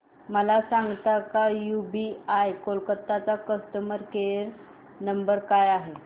मला सांगता का यूबीआय कोलकता चा कस्टमर केयर नंबर काय आहे